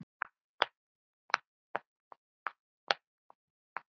Er sú vísitala raunsæ?